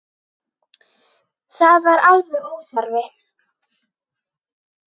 Það var alveg óþarfi.